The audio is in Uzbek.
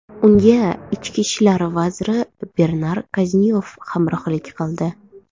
Unga ichki ishlar vaziri Bernar Kaznyov hamrohlik qildi.